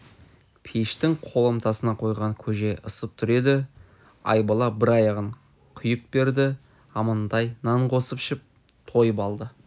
пештің қоламтасына қойған көже ысып тұр еді айбала бір аяғын құйып берді амантай нан қосып ішіп тойып алды